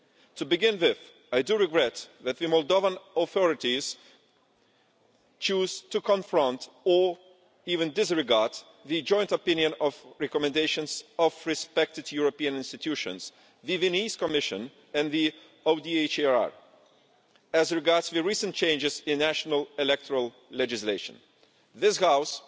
To begin with, I do regret that the Moldovan authorities choose to confront or even disregard the joint opinion and recommendations of respected European institutions the Venice Commission and the ODIHR as regards the recent changes in national electoral legislation. This House,